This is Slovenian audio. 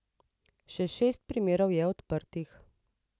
Še šest primerov je odprtih.